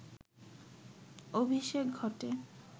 অভিষেক ঘটে